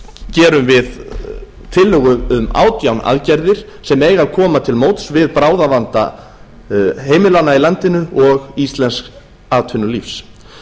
gerum við tillögu um átján aðgerðir sem eiga að koma til móts við bráðavanda heimilanna í landinu og íslensks atvinnulífs